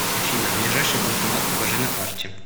афина ближайший банкомат покажи на карте